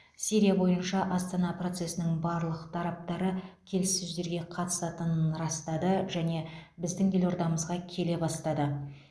сирия бойынша астана процесінің барлық тараптары келіссөздерге қатысатынын растады және біздің елордамызға келе бастады